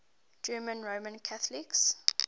german roman catholics